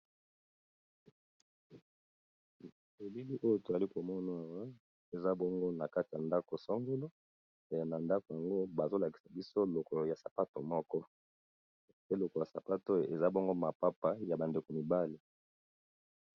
Elili oyo to ali ko mona eza bongo na kati ya ndako songolo. Pe na ndako yango ba zolakisa biso lokolo ya sapato moko. Peloko ya sapato eza bongo mapapa ya bandeko mibali.